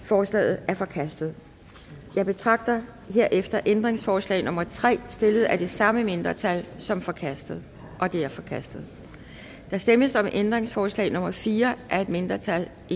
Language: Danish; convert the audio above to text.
forslaget er forkastet jeg betragter herefter ændringsforslag nummer tre stillet af det samme mindretal som forkastet det er forkastet der stemmes om ændringsforslag nummer fire af et mindretal og